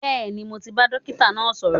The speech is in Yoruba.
Bẹẹni, mo ti bá dókítà náà sọ̀rọ̀